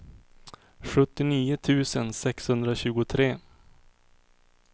sjuttionio tusen sexhundratjugotre